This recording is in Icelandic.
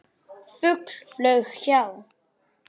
Fugl flaug hjá.